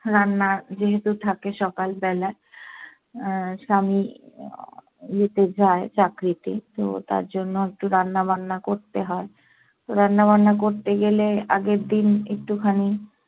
রান্না যেহেতু থাকে সকাল বেলা। আহ স্বামী ইয়েতে যায় চাকরিতে তো তার জন্য একটু রান্নাবান্না করতে হয়। তো রান্নাবান্না করতে গেলে আগের দিন একটু খানি